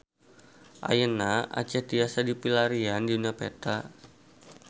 Ayeuna Aceh tiasa dipilarian dina peta